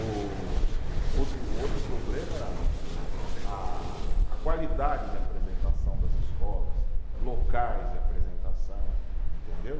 O outro, o outro problema era a, a qualidade de apresentação das escolas, locais de apresentação, entendeu?